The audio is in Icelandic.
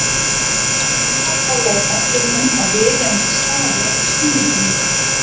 Á meðan Anna talaði benti hún á viðeigandi staði á skýringarmyndinni.